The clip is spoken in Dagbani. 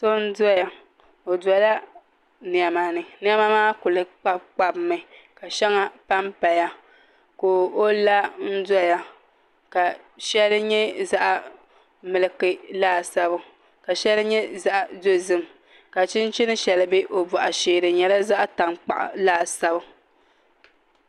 So n doya o dola niɛma ni niɛma maa kuli kpabi kpabi mi ka shɛŋa panpaya ka o la n doya ka shɛli nyɛ zaɣ milki laasabu ka shɛli nyɛ zaɣ dozim ka chinchini shɛli bɛ o boɣu shee di nyɛla zaɣ tankpaɣu laasabu